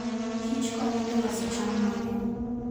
kich konyo e loso cham mang'eny.